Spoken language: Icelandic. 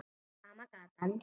Sama gatan.